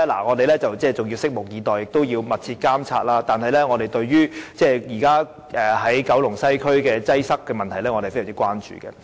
我們要拭目以待，而我們會密切監察，但我們對九龍西區現時的擠塞問題是非常關注的。